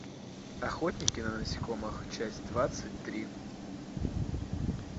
охотники на насекомых часть двадцать три